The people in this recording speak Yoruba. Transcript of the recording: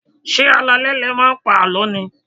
Ṣé alaalẹ́ ni ẹ máa ń pa àlọ́ ni?